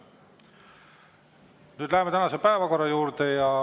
Nüüd läheme tänase päevakorra juurde.